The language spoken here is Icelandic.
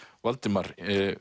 Valdimar